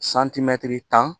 tan